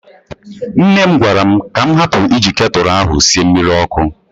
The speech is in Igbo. Nne m gwara m ka m hapụ iji ketụlụ ahụ sie mmiri ọkụ.